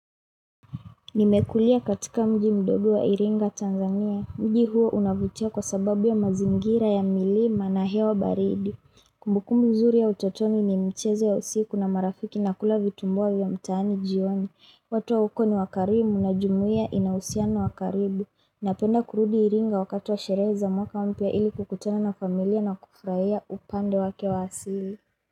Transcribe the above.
Nimekulia katika mji mdogo wa iringa Tanzania. Mji huo unavutia kwa sababu ya mazingira ya milima na hewa baridi. Kumbukumbu mzuri ya utotoni ni mchezo ya usiku na marafiki na kula vitumbua vya mtaani jioni. Watu wa huko ni wakarimu na jumuia inahusiano wa karibu. Napenda kurudi Iringa wakati wa sherehe za mwaka mpya ili kukutana na familia na kufurahia upande wake wa asili.